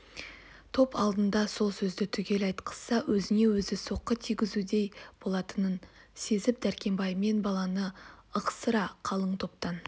топ алдында сол сөзді түгел айтқызса өзіне өзі соққы тигзгендей болатынын сезіп дәркембай мен баланы ықсыра қалың топтан